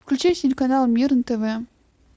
включи телеканал мир на тв